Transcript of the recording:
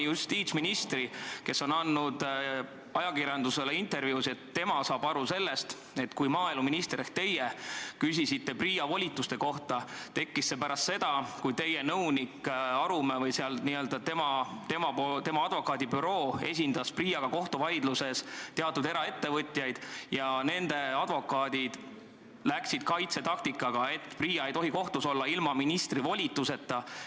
Justiitsminister on andnud ajakirjandusele intervjuusid, et tema saab aru nii, et kui maaeluminister küsis ehk teie küsisite PRIA volituste kohta, siis see oli pärast seda, kui teie nõunik Arumäe või tema advokaadibüroo oli esindanud kohtuvaidluses PRIA-ga teatud eraettevõtjaid ja nende advokaatidel oli kaitsetaktika, et PRIA ei tohi kohtus olla ilma ministri volituseta.